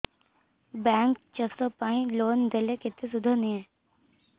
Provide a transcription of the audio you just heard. bank ଚାଷ ପାଇଁ loan ଦେଲେ କେତେ ସୁଧ ନିଏ